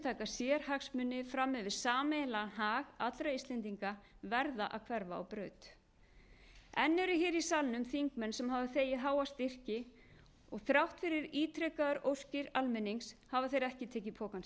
sérhagsmuni fram yfir sameiginlegan hag allra íslendinga verða að hverfa á braut enn eru hér í salnum þingmenn sem hafa þegið háa styrki og þrátt fyrir ítrekaðar óskir almennings hafa þeir ekki tekið pokann